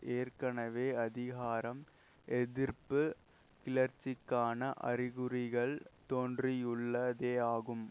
ஏற்கனவே அதிகாரம் எதிர்ப்பு கிளர்ச்சிக்கான அறிகுறிகள் தோன்றியுள்ளதேயாகும்